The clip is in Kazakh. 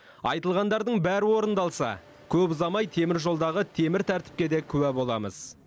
айтылғандардың бәрі орындалса көп ұзамай темір жолдағы темір тәртіпке де куә боламыз